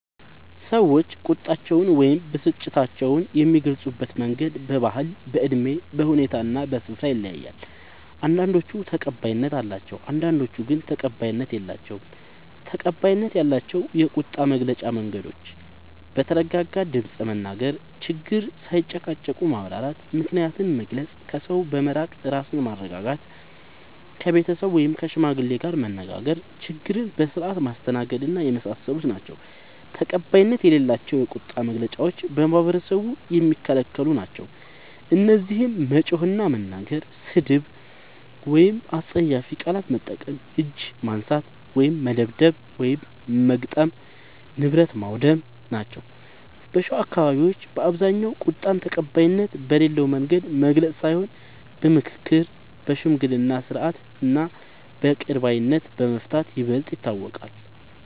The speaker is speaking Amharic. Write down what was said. ሰዎች ቁጣቸውን ወይም ብስጭታቸውን የሚገልጹበት መንገድ በባህል፣ በእድሜ፣ በሁኔታ እና በስፍራ ይለያያል። አንዳንዶቹ ተቀባይነት አላቸው፣ አንዳንዶቹ ግን ተቀባይነት የላቸዉም። ፩. ተቀባይነት ያላቸው የቁጣ መግለጫ መንገዶች፦ በተረጋጋ ድምፅ መናገር፣ ችግርን ሳይጨቃጨቁ ማብራራት፣ ምክንያትን መግለጽ፣ ከሰው በመራቅ ራስን ማረጋጋት፣ ከቤተሰብ ወይም ከሽማግሌ ጋር መነጋገር፣ ችግርን በስርዓት ማስተናገድና የመሳሰሉት ናቸዉ። ፪. ተቀባይነት የሌላቸው የቁጣ መግለጫዎች በማህበረሰቡ የሚከለክሉ ናቸዉ። እነዚህም መጮህ እና መናገር፣ ስድብ ወይም አስጸያፊ ቃላት መጠቀም፣ እጅ ማንሳት (መደብደብ/መግጠም) ፣ ንብረት ማዉደም ናቸዉ። በሸዋ አካባቢዎች በአብዛኛዉ ቁጣን ተቀባይነት በሌለዉ መንገድ መግለጽ ሳይሆን በምክክር፣ በሽምግልና ስርዓት እና በይቅር ባይነት በመፍታት ይበልጥ ይታወቃል።